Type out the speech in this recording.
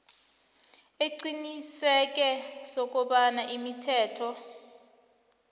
isiqiniseko sokobana imithetho